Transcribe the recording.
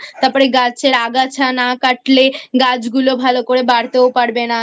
তারপরে গাছের আগাছা না কাটলে গাছ গুলো ভালো করে বাড়তেও পারবে না